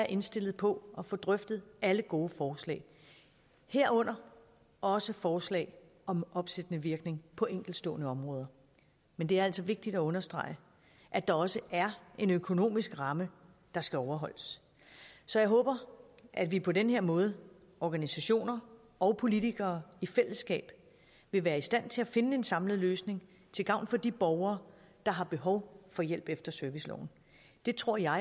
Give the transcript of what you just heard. indstillet på at få drøftet alle gode forslag herunder også forslag om opsættende virkning på enkeltstående områder men det er altså vigtigt at understrege at der også er en økonomisk ramme der skal overholdes så jeg håber at vi på den her måde organisationer og politikere i fællesskab vil være i stand til at finde en samlet løsning til gavn for de borgere der har behov for hjælp efter serviceloven det tror jeg